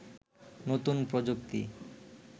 নতুন প্রযুক্তি